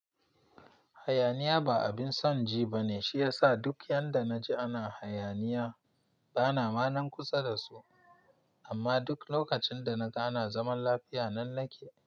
Hayaniya ba abin son ji ba ne, shi yasa duk yanda na ji ana hayaniya bana ma nan kusa da su. Amma duk lokacin da na ga ana zaman lafiya nan nake.